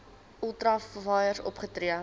ultra vires opgetree